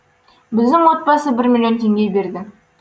біздің отбасы бір миллион теңге берді